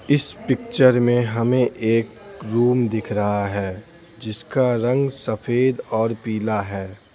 इस पिक्चर में हमें एक रूम दिख रहा है जिसका रंग सफेद और पीला है।